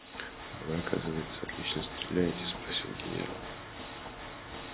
а вы оказывается отлично стреляете спросил генерал